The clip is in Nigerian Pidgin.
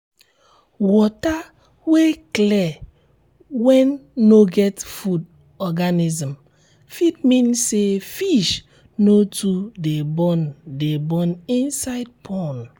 water wey clear wen no get food organism fit mean say fish no too de born de born inside pond